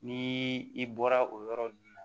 Ni i bɔra o yɔrɔ ninnu na